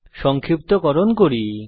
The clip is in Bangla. সংক্ষিপ্তকরণ করি